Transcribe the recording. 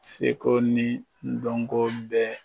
Seko ni dɔnko bɛɛ